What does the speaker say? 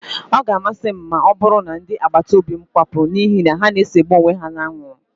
Ọ ga-amasị m ma ọbụrụ na ndị agbataóbị́ m kwapụ n'ihi na ha segburu onwe ha n'anwụrụ